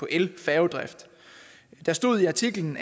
elfærgedrift der stod i artiklen